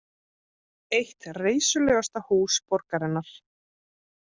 Eitt reisulegasta hús borgarinnar